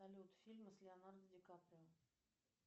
салют фильмы с леонардо ди каприо